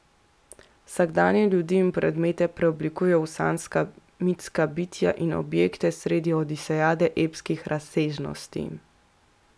Vsakdanje ljudi in predmete preoblikuje v sanjska, mitska bitja in objekte sredi odisejade epskih razsežnosti.